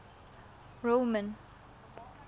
roman